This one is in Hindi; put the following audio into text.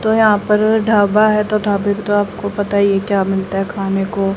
तो यहां पर ढाबा है तथा आपको पता ही क्या मिलता है खाने को।